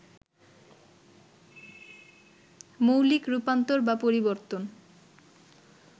মৌলিক রূপান্তর বা পরিবর্তন